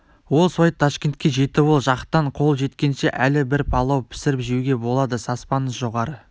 ол суайт ташкентке жетіп ол жақтан қол жеткенше әлі бір палау пісіріп жеуге болады саспаңыз жоғары